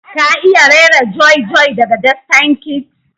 ka iya raira joy joy daga destined kids?